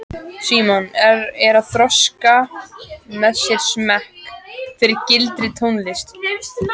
Símon er að þroska með sér smekk fyrir sígildri tónlist.